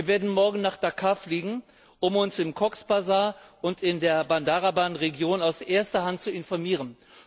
Wir werden Morgen nach Dhaka fliegen, um uns in Cox's Bazar und in der Bandarban Region aus erster Hand zu informieren.